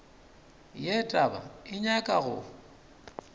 ye taba e nyaka go